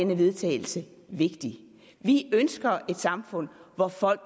vedtagelse vigtigt vi ønsker et samfund hvor folk